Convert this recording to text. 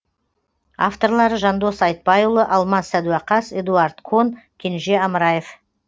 авторлары жандос айтбайұлы алмас сәдуақас эдуард кон кенже амраев